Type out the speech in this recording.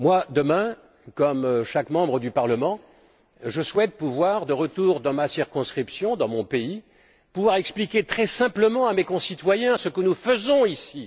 Demain, comme chaque membre du Parlement, je souhaite, de retour dans ma circonscription, dans mon pays, pouvoir expliquer très simplement à mes concitoyens ce que nous faisons ici.